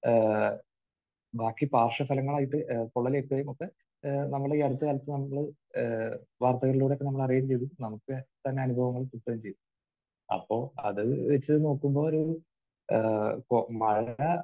ഏഹ് ബാക്കി പാർശ്വഫലങ്ങളായിട്ട് പൊള്ളലേൽക്കുകയും ഒക്കെ നമ്മൾ ഈ അടുത്ത കാലത്ത് നമ്മൾ ഏഹ് വാർത്തകളിലൂടെ ഇപ്പോൾ നമ്മൾ അറിയുകയും ചെയ്തു. നമുക്ക് തന്നെ അനുഭവങ്ങൾ കിട്ടുകയും ചെയ്തു. അപ്പോൾ അത് വെച്ച് നോക്കുമ്പോൾ ഒരു ഏഹ് ഇപ്പോൾ മഴ